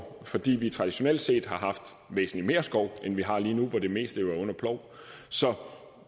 fordi vi traditionelt set har haft væsentlig mere skov end vi har lige nu hvor det meste jo er under plov så